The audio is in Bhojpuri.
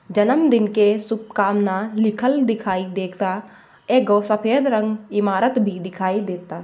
जनमदिन के शुभकामना लिखल दिखाइ देता। एगो सफ़ेद रंग इमारत भी दिखाइ देता।